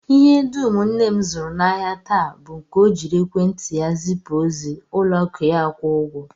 Ihe dum nne m zụrụ n'ahịa taa bụ nke ọ jiri ekwentị ya zipụ ozi, ụlọakụ ya akwụọ ụgwọ